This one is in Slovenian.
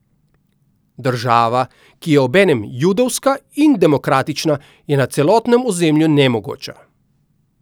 Država, ki je obenem judovska in demokratična, je na celotnem ozemlju nemogoča.